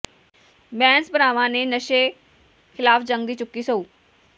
ਬੈਂਸ ਭਰਾਵਾਂ ਨੇ ਨਸ਼ੇ ਖਿਲਾਫ ਜੰਗ ਦੀ ਚੁੱਕੀ ਸਹੁੰ